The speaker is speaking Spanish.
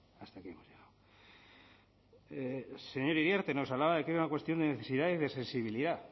señor iriarte nos hablaba de que hay una cuestión de necesidad y de sensibilidad